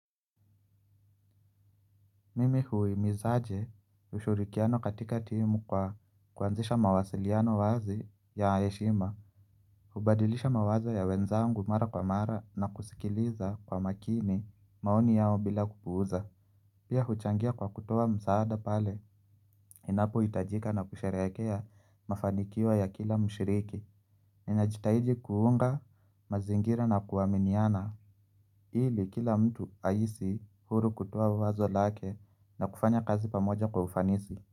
Mimi huhimizaje ushirikiano katika timu kwa kuanzisha mawasiliano wazi ya heshima. Hubadilisha mawazo ya wenzangu mara kwa mara na kusikiliza kwa makini maoni yao bila kupuuza. Pia huchangia kwa kutoa msaada pale ninapohitajika na kusherehekea mafanikio ya kila mshiriki. Ninajitahiji kuunga mazingira na kuaminiana ili kila mtu ahisi huru kutoa wazo lake na kufanya kazi pamoja kwa ufanisi.